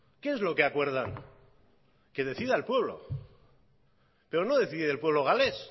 qué es lo que acuerdan que decida el pueblo pero no decide el pueblo galés